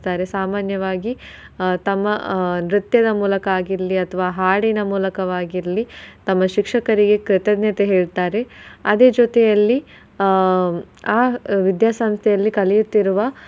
ಸಾಮಾನ್ಯವಾಗಿ ತಮ್ಮ ಆಹ್ ನೃತ್ಯದ ಮೂಲಕ ಆಗಿರ್ಲಿ ಅಥವಾ ಹಾಡಿನ ಮೂಲಕವಾಗಿರ್ಲಿ ತಮ್ಮ ಶಿಕ್ಷಕರಿಗೆ ಕೃತಜ್ಞತೆ ಹೇಳ್ತಾರೆ. ಅದೆ ಜೊತೆಯಲ್ಲಿ ಆಹ್ ಆ ವಿದ್ಯಾಸಂಸ್ಥೆಯಲ್ಲಿ ಕಲಿಯುತ್ತಿರುವ.